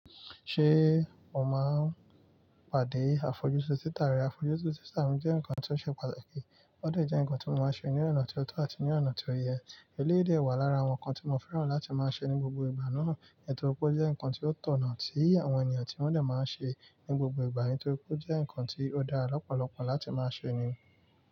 Ṣé o máa ń pàdé àfojúsùn títàrí? Àfojúsùn títàrí jẹ́ nǹkan tó ṣe pàtàkì, ó de jẹ́ nǹkan tí mo máa ń ṣe ní ọ̀nà tó tọ́ àti ní ọ̀nà tí ó yẹ. Eléyi de wà lára àwọn nǹkan tí mo fẹ́ràn láti máa ṣe ní gbogbo ìgbà náà, nítorí pé ó jẹ́ nǹkan tó tọ̀nà sí àwọn ènìyàn tí wọ́n dà máa ń ṣe ní gbogbo ìgbà, nítorí pé ó jẹ́ nǹkan tí ó dára lọ́pọ̀lọpọ̀ láti máa ṣe ni.